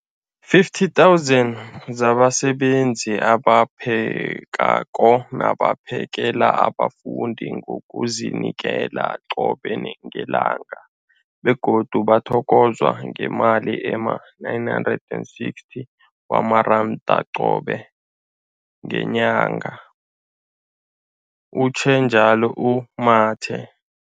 50 000 zabasebenzi abaphekako nabaphakela abafundi ngokuzinikela qobe ngelanga, begodu bathokozwa ngemali ema-960 wamaranda qobe ngenyanga, utjhwe njalo u-Mathe.